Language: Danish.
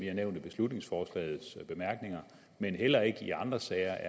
er nævnt i beslutningsforslagets bemærkninger eller i andre sager